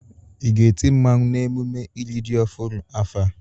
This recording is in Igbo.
Ị ga-eti mmawụ n'emume iri ji ọhụrụ afọ a?